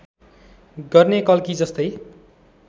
गर्ने कल्की जस्तै